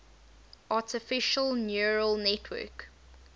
artificial neural network